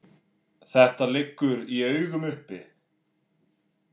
Þetta liggur í augum uppi.